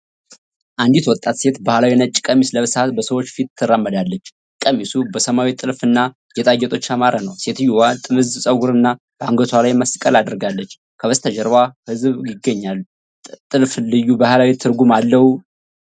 ንዲት ወጣት ሴት ባህላዊ ነጭ ቀሚስ ለብሳ በሰዎች ፊት ትራመዳለች። ቀሚሱ በሰማያዊ ጥልፍ እና ጌጣጌጦች ያማረ ነው። ሴትየዋ ጥምዝ ጸጉርና በአንገቷ ላይ መስቀል አድርጋለች፤ ከበስተጀርባው ህዝብ ይገኛል። ጥልፍ ልዩ ባህላዊ ትርጉም አለው?